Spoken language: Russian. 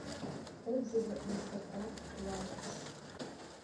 отзывы амстердам лаундж